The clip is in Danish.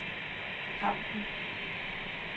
Hampen